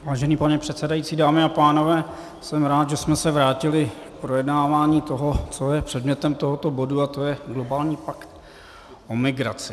Vážený pane předsedající, dámy a pánové, jsem rád, že jsme se vrátili k projednávání toho, co je předmětem tohoto bodu, a to je globální pakt o migraci.